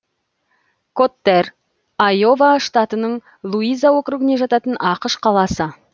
коттэр айова штатының луиза округіне жататын ақш қаласы